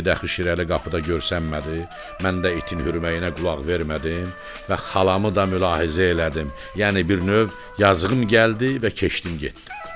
Çünki daxil Şirəli qapıda görsənmədi, mən də itin hürməyinə qulaq vermədim və xalamı da mülahizə elədim, yəni bir növ yazığım gəldi və keçdim getdim.